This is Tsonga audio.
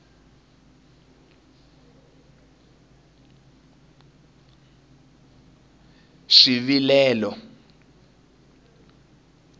swivilelo